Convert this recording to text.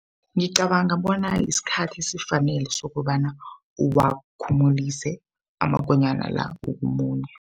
Ngicabanga bona isikhathi esifanele sokobana uwakhumulise amakonyana la ukumunya.